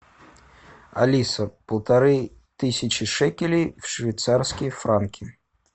алиса полторы тысячи шекелей в швейцарские франки